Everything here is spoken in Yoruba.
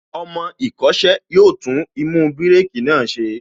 Ọmọ ìkọ́ṣẹ́ yóò tún īmú bírèkī náà ṣe